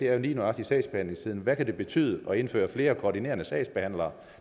er jo lige nøjagtig sagsbehandlingstiden hvad kan det betyde at indføre flere koordinerende sagsbehandlere